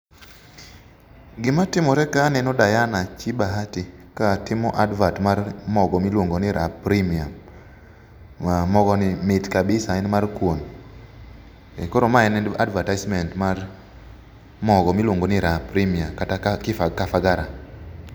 Gima timore ka aneno Diana chi Bahati katimo advert mar mogo miluongo ni Raha premium. Mogo ni mit kabisa, en mar kuon, koro mae en advertisement mar mogo miluongo ni raha premium kata kifagara